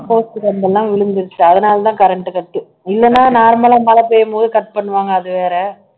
post கம்பம் எல்லாம் விழுந்துருச்சு அதனாலதான் current cut இல்லன்னா normal லா மழை பெய்யும்போது cut பண்ணுவாங்க அது வேற